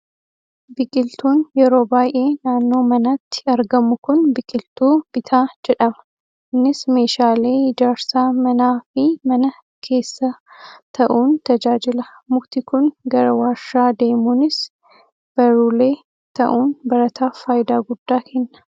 Biqiltuun yeroo baay'ee naannoo manaatti argamu kun biqiltuu bitaa jedhama. Innis meeshaalee ijaarsaa manaa fi mana keessaa ta'uun tajaajila. Mukti kun gara waarshaa deemuunis baruulee ta'uun barataaf faayidaa guddaa kenna.